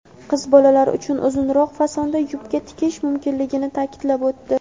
qiz bolalar uchun uzunroq fasonda yubka tikish mumkinligini taʼkidlab o‘tdi.